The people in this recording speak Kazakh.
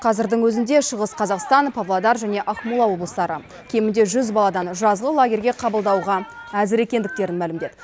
қазірдің өзінде шығыс қазақстан павлодар және ақмола облыстары кемінде жүз баладан жазғы лагерьге қабылдауға әзір екендіктерін мәлімдеді